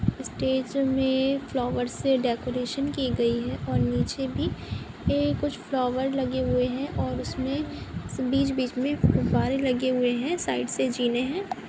Stage में flowers से decoration की गई है। और नीचे भी ये कुछ फ्लॉवर लगे हुए हैं और उसमें बीच-बीच में गुब्बारें लगे हुए हैं। साइड से जीने हैं।